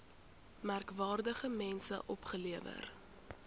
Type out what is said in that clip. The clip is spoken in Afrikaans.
merkwaardige mense opgelewer